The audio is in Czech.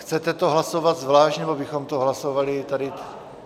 Chcete to hlasovat zvlášť, nebo bychom to hlasovali tady...?